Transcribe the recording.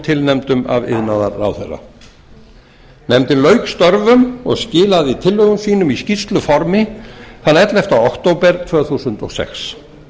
tilnefndum af iðnaðarráðherra nefndin lauk störfum og skilaði tillögum sínum í skýrsluformi þann ellefta október tvö þúsund og sex